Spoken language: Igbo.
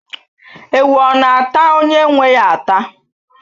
Ewu ọ na-ata onye nwe ya ata?